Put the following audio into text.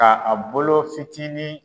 A a bolo fitinin